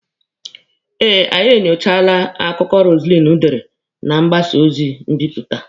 Eh, anyị enyochaala akụkọ Roselyn dere na mgbasa ozi mbipụta.